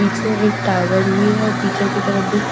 पीछे एक टावर भी है और पीछे की तरफ भी क--